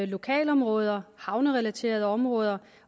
lokalområder havnerelaterede områder